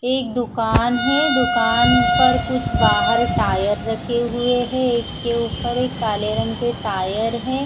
एक दुकान है दुकान पर कुछ बहार टायर रखे हुए है एक के ऊपर एक काले रंग के टायर है।